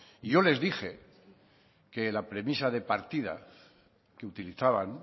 y yo les dije que la premisa de partida que utilizaban